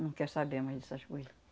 Não quer saber mais dessas coisas.